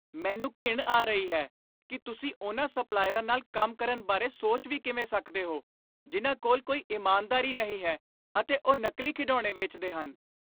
ਮੈਨੂੰ ਘਿਣ ਆ ਰਹੀ ਹੈ ਕਿ ਤੁਸੀਂ ਉਨ੍ਹਾਂ ਸਪਲਾਇਰਾਂ ਨਾਲ ਕੰਮ ਕਰਨ ਬਾਰੇ ਸੋਚ ਵੀ ਕਿਵੇਂ ਸਕਦੇ ਹੋ ਜਿੰਨਾਂ ਕੋਲ ਕੋਈ ਇਮਾਨਦਾਰੀ ਨਹੀਂ ਹੈ ਅਤੇ ਉਹ ਨਕਲੀ ਖਿਡੌਣੇ ਵੇਚਦੇ ਹਨ।